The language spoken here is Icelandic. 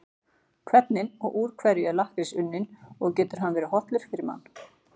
Hvernig og úr hverju er lakkrís unninn og getur hann verið hollur fyrir mann?